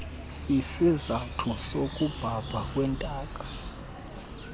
sisizathu sokubhabha kwentaka